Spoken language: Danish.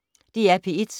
DR P1